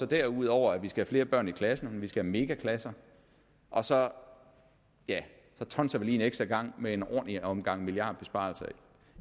derudover at vi skal have flere børn i klasserne vi skal have megaklasser og så tonser vi lige en ekstra gang med en ordentlig omgang milliardbesparelser